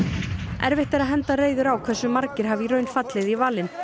erfitt er að henda reiður á hversu margir hafa í raun fallið í valinn